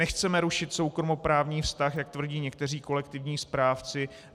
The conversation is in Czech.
Nechceme rušit soukromoprávní vztah, jak tvrdí někteří kolektivní správci.